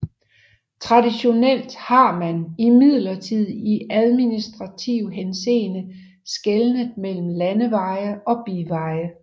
Traditionelt har man imidlertid i administrativ henseende skelnet mellem landeveje og biveje